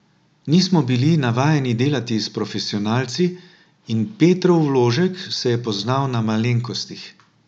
Nismo bili navajeni delati s profesionalci in Petrov vložek se je poznal na malenkostih.